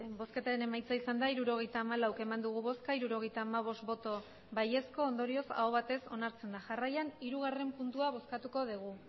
botoak hirurogeita hamalau bai hirurogeita hamabost ondorioz aho batez onartzen da jarraian hirugarren puntua bozkatuko dugu